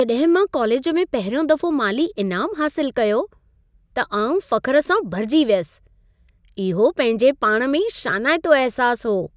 जॾहिं मां कालेज में पहिरियों दफ़ो माली इनामु हासिलु कयो, त आउं फ़ख़्रु सां भरिजी वियसि। इहो पंहिंजे पाण में ई शानाइतो अहिसासु हो।